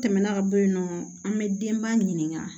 Tɛmɛna ka bɔ yen nɔ an bɛ denba ɲininka